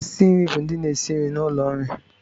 Osi nri bụ ndị na-esi nri n'ụlọ nri